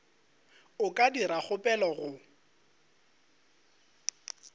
a ka dira kgopelo go